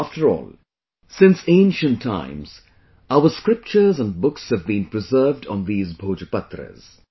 After all, since ancient times, our scriptures and books have been preserved on these Bhojpatras